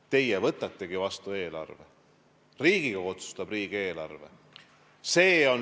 Teie võtategi eelarve vastu, Riigikogu otsustab riigieelarve üle.